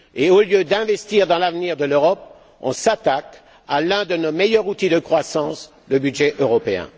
Au lieu d'investir dans l'avenir de l'Europe, on s'attaque à l'un de nos meilleurs outils de croissance le budget européen